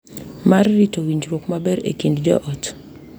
Mar rito winjruok maber e kind joot.